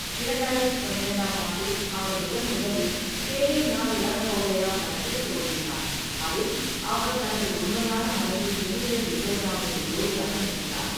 இரண்டாயிரத்து பன்னிரண்டாம் ஆண்டில், அவர் முதன்முதலில் தேரே நால் லவ் ஹோ கயா படத்தில் தோன்றினார், அதில் அவர் தனது உண்மையான மனைவி ஜெனிலியா டிசோசாவுக்கு ஜோடியாக நடித்தார்.